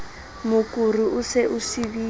mokuru o se o sibile